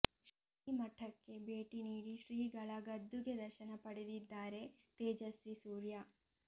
ಶ್ರೀ ಮಠಕ್ಕೆ ಭೇಟಿ ನೀಡಿ ಶ್ರೀಗಳ ಗದ್ದುಗೆ ದರ್ಶನ ಪಡೆದಿದ್ದಾರೆ ತೇಜಸ್ವಿ ಸೂರ್ಯ